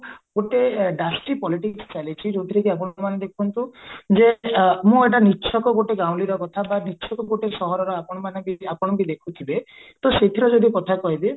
ଗୋଟେ polities ଚାଲିଛି ଯୋଉଥିରେ କି ଆପଣ ମାନେ ଦେଖନ୍ତୁ ଯେ ମୁଁ ଏଟା ଗୋଟେ ଗାଉଁଲିର କଥା ବା ଗୋଟେ ସହରର ଆପଣ ମାନେ ବି ଆପଣ ବି ଦେଖୁଥିବେ ତ ସେଥିର ଯଦି କଥା କହିବି